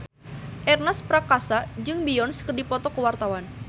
Ernest Prakasa jeung Beyonce keur dipoto ku wartawan